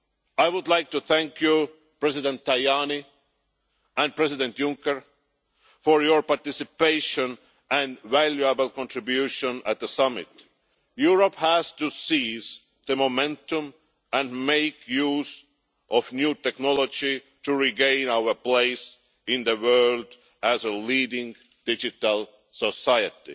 I would like to thank President Tajani and President Juncker for their participation and valuable contribution at the summit. Europe has to seize the momentum and make use of new technology to regain our place in the world as a leading digital society.